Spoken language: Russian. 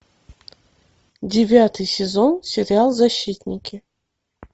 девятый сезон сериал защитники